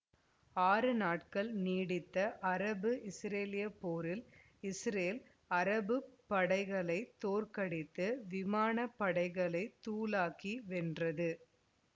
ஆறு நாட்கள் நீடித்த அரபுஇசுரேலிய போரில் இசுரேல் அரபுப்படைகளைத் தோற்கடித்துவிமானப்படைகளைத் தூளாக்கி வென்றது